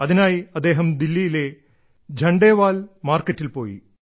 അതിനായി അദ്ദേഹം ദില്ലിയിലെ ഝണ്ടേവാലാ മാർക്കറ്റിൽ പോയി